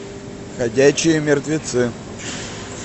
ходячие мертвецы